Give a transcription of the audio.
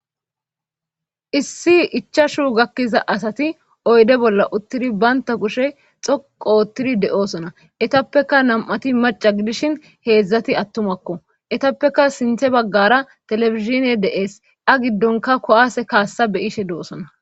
issi ichashu gakkiza asati oyde bolla uttidi baynta kushe xoqoottidi de7oosona etappeka nam7ati maca gidishin heedzdzati attumakko etappeka sinthe baggara telefizine de7ees a giddonka kowase kaassa be ishe de7osona